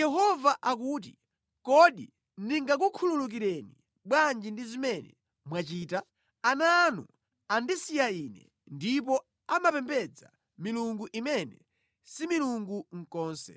Yehova akuti, “Kodi ndingakukhululukireni bwanji ndi zimene mwachita? Ana anu andisiya Ine ndipo amapembedza milungu imene si milungu konse.